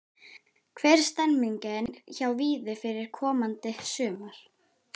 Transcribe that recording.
Hvernig er stemningin hjá Víði fyrir komandi sumar?